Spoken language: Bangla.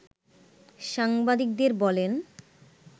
সাংবাদিকদের বলেন